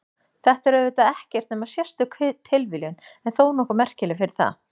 Þetta er auðvitað ekkert nema sérstök tilviljun en þó nokkuð merkileg fyrir það.